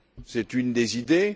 C'est une des idées.